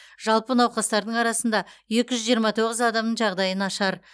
жалпы науқастардың арасында екі жүз жиырма тоғыз адамның жағдайы нашар